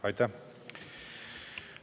Aitäh!